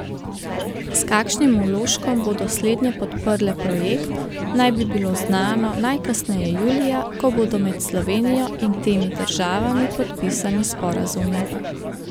S kakšnim vložkom bodo slednje podprle projekt, naj bi bilo znano najkasneje julija, ko bodo med Slovenijo in temi državami podpisani sporazumi.